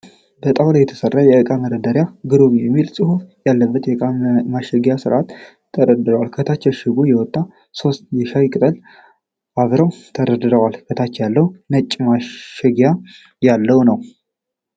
በጣዉላ የተሰራ የእቃ መደርደሪያ "ግሩም" የሚል ፅሀፍ ያለበት የእቃ ማሸጊያ በስርዓት ተደርድሯል። ከታች ከእሽጉ የወጣ ሶስት የሻይ ቅጠል አብረዉ ተደርድረዋል። ከታች ያለዉ ነጭ ማሸጊያ ያለዉ ነዉ።